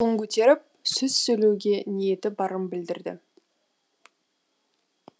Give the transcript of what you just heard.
қолын көтеріп сөз сөйлеуге ниеті барын білдірді